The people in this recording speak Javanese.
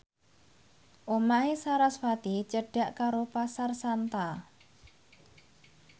omahe sarasvati cedhak karo Pasar Santa